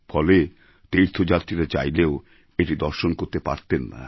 ফলে তীর্থযাত্রীরা চাইলেও এটি দর্শন করতে পারতেন না